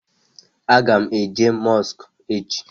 A ga m eje mosku echi